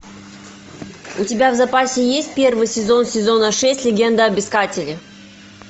у тебя в запасе есть первый сезон сезона шесть легенда об искателе